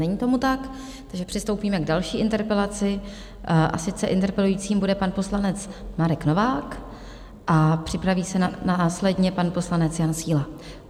Je tomu tak, takže přistoupíme k další interpelaci, a sice interpelujícím bude pan poslanec Marek Novák a připraví se následně pan poslanec Jan Síla.